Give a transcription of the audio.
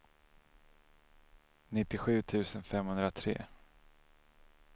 nittiosju tusen femhundratre